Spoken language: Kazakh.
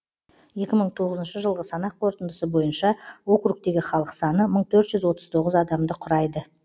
екі мың тоғызыншы жылғы санақ қорытындысы бойынша округтегі халық саны мың төрт жүз отыз тоғыз адамды құрайды